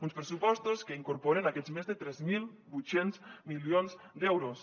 uns pressupostos que incorporen aquests més de tres mil vuit cents milions d’euros